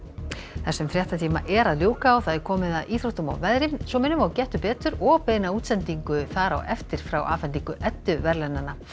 þessum fréttatíma er að ljúka og það er komið að íþróttum og veðri svo minnum við á Gettu betur og beina útsendingu þar á eftir frá afhendingu Eddu verðlaunanna